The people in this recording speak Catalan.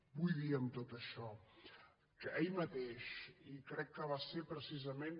vull dir amb tot això que ahir mateix i crec que va ser precisament